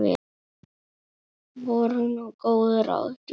Voru nú góð ráð dýr.